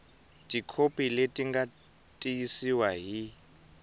tikhopi leti nga tiyisiwa hi